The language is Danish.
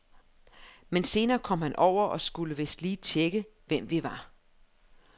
Men senere kom han over og skulle vist lige tjekke, hvem vi var.